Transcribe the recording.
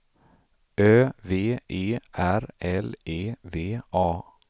Ö V E R L E V A